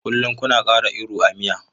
Kullum kuna ƙara iru a miya.